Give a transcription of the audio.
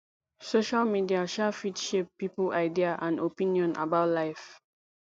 social media um fit shape pipo idea and opinion about life